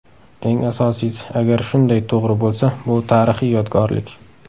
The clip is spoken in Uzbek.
Eng asosiysi, agar shunday to‘g‘ri bo‘lsa, bu tarixiy yodgorlik!